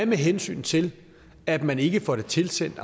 med hensyn til at man ikke får det tilsendt